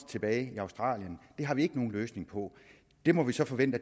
tilbage i australien det har vi ikke nogen løsning på det må vi så forvente